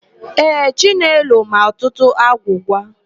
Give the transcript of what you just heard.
Ee, Chinelo ma ọtụtụ agwụgwa.